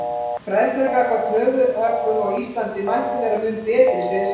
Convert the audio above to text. Fræðslan gagnvart höfuðhöggum á Íslandi mætti vera mun betri segir Sara.